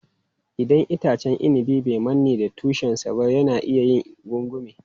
Idan itacen inabi bai manne da tushen sa ba, yana iya yin gungume.